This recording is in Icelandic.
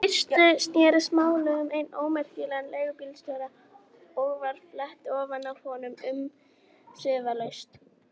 Í fyrstu snerist málið um einn ómerkilegan leigubílstjóra og var flett ofan af honum umsvifalaust.